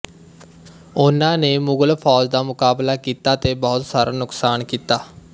ਉਹਨਾਂ ਨੇ ਮੁਗਲ ਫੌਜ ਦਾ ਮੁਕਾਬਲਾ ਕੀਤਾ ਤੇ ਬਹੁਤ ਸਾਰਾ ਨੁਕਸਾਨ ਕੀਤਾ